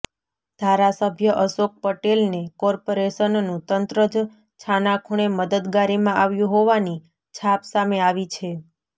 ધારાસભ્ય અશોક પટેલને કોર્પોેરેશનનું તંત્ર જ છાનાખુણે મદદગારીમાં આવ્યું હોવાની છાપ સામે આવી છે